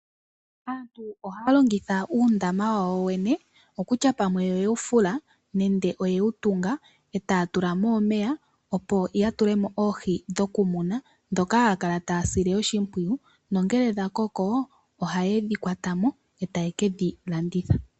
Aantu ohaya longitha uundama wawo yoyene kutya oyewu fula nenge oyewu tunga etaya tula mo omeya opo ya tulemo oohi dhokumuna dhoka haya kala taya sile oshipwiyu. Ngele dhakoko ohayedhi kwata mo etaye kedhi landitha.